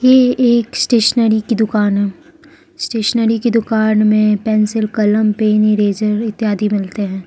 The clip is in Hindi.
ये एक स्टेशनरी की दुकान है स्टेशनरी की दुकान में पेंसिल कलम पेन इरेजर इत्यादि मिलते है।